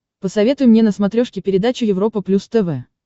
посоветуй мне на смотрешке передачу европа плюс тв